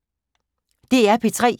DR P3